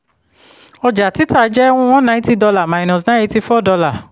ọjà-títà jẹ́ one ninety dollar minus nine eighty-four dollar